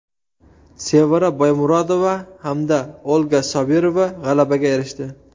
Sevara Boymurodova hamda Olga Sobirova g‘alabaga erishdi.